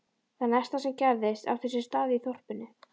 Það næsta sem gerðist átti sér stað í þorpinu.